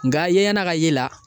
Nka yeɲɛna ka ye la.